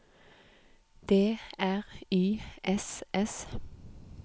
D R Y S S